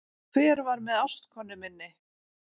Hver var með ástkonu minni